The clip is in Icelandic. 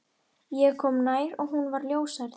Ég kom nær og hún var ljóshærð.